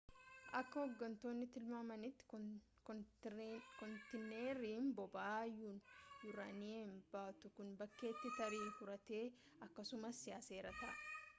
akka hoggantoonni tilmaamanitti kontiineeriin boba'aa yuraniiyem baatuu kun bakkeetti tarii uratee akkasumas yaaseera ta'a